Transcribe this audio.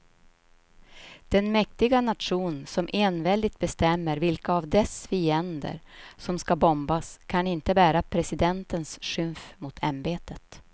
Den mäktiga nation som enväldigt bestämmer vilka av dess fiender som ska bombas kan inte bära presidentens skymf mot ämbetet.